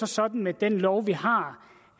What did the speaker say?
sådan med den lov vi har